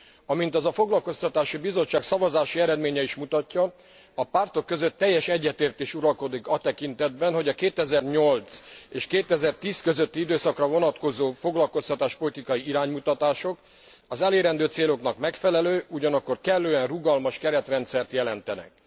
Amint az a foglalkoztatási bizottság szavazási eredménye is mutatja, a pártok között teljes egyetértés uralkodik a tekintetben, hogy a 2008 és 2010 közötti időszakra vonatkozó foglalkoztatáspolitikai iránymutatások az elérendő céloknak megfelelő, ugyanakkor kellően rugalmas keretrendszert jelentenek.